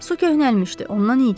Su köhnəlmişdi.